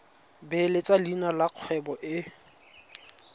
beeletsa leina la kgwebo e